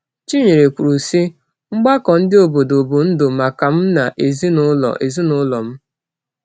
Chinyere kwuru, sị: “Mgbakọ ndị obodo bụ ndụ maka m na ezinụlọ ezinụlọ m.”